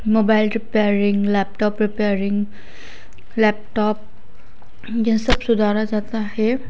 Mobile repairing laptop repairing laptop ये सब सुधारा जाता है।